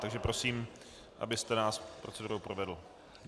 Takže prosím, abyste nás procedurou provedl.